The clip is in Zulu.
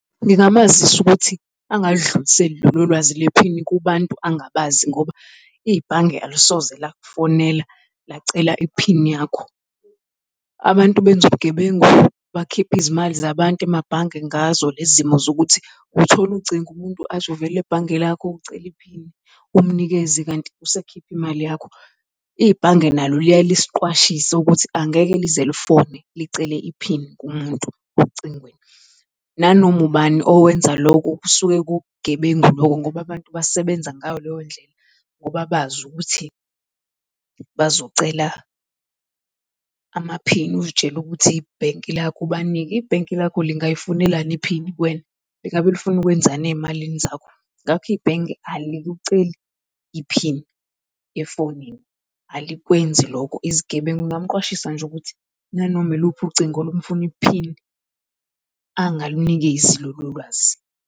Ngingamazisa ukuthi angadluliseli lolo lwazi lwephini kubantu angabazi ngoba ibhange alisoze lakufonela lacela iphini yakho. Abantu benza ubugebengu, bakhiphe izimali zabantu emabhange ngazo lezi zimo zokuthi uthola ucingo, umuntu athi uvela ebhange lakho, ucela iphini umnikeze kanti usekhipha imali yakho. Ibhange nalo liyaye lisiqwashise ukuthi angeke lize lifone licele iphini kumuntu ocingweni. Nanoma ubani owenza loku kusuke kuwubugebengu lokho ngoba abantu basebenza ngayo leyo ndlela ngoba bazi ukuthi bazocela amaphini uy'tshele ukuthi ibhenki lakho ubanike. Ibhenki lakho lingayifunelani iphini kuwena? Lingabe lifuna ukwenzani ey'malini zakho? Ngakho ibhenki alikuceli iphini yefonini, alikwenzi lokho. Izigebengu, ngingamqwashisa nje ukuthi nanoma iluphi ucingo olumfuna iphini, angalunikezi lolo lwazi.